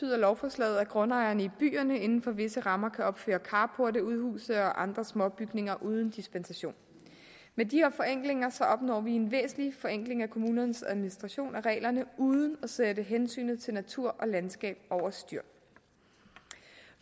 lovforslaget at grundejerne i byerne inden for visse rammer kan opføre carporte udhuse og andre småbygninger uden dispensation med de her forenklinger opnår vi en væsentlig forenkling af kommunernes administration af reglerne uden at sætte hensynet til natur og landskab over styr